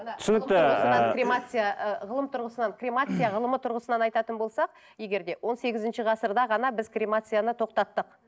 түсінікті кремация ыыы ғылым тұрғысынан кремация ғылымы тұрғысынан айтатын болсақ егер де он сегізінші ғасырда ғана біз кремацияны тоқтаттық